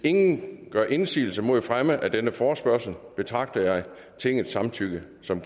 ingen gør indsigelse mod fremme af denne forespørgsel betragter jeg tingets samtykke som